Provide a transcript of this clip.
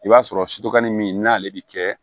I b'a sɔrɔ sutokɔnin min n'ale bɛ kɛ